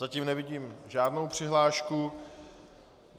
Zatím nevidím žádnou přihlášku.